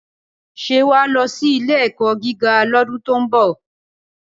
Ṣé wà á lọ sí ilé-ẹ̀kọ́ gíga lọ́dún tí ó ń bọ̀?